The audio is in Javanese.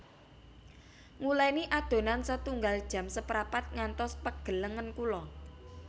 Nguleni adonan setunggal jam seprapat ngantos pegel lengen kula